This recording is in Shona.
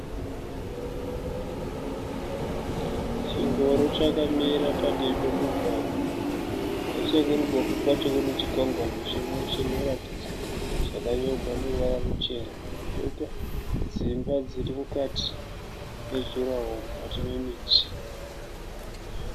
Chingoro chakamira padivi pemugwagwa. Nechekuruboshwe kwacho kune chikwangwani chinoratidza zvakanyorwa neruvara ruchena. Kwoita dzimba dzirimukati mejuraho mukati memiti.